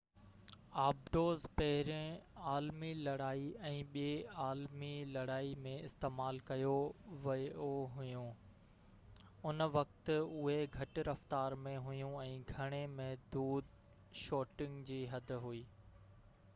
آبدوز پهرين عالمي لڙائي ۽ ٻي عالمي لڙائي ۾ استعمال ڪيون ويون هويون ان وقت اهي گهٽ رفتار ۾ هويون ۽ گهڻي محدود شوٽنگ جي حد هئي